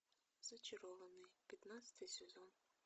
зачарованные пятнадцатый сезон